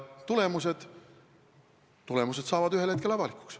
Tulemused saavad ühel hetkel avalikuks.